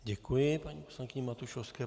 Děkuji paní poslankyni Matušovské.